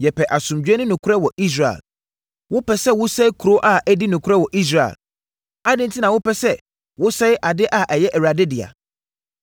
Yɛpɛ asomdwoeɛ ne nokorɛ wɔ Israel. Wopɛ sɛ wosɛe kuro a adi nokorɛ wɔ Israel. Adɛn enti na wopɛ sɛ wosɛe ade a ɛyɛ Awurade dea?”